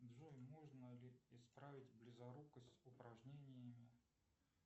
джой можно ли исправить близорукость упражнениями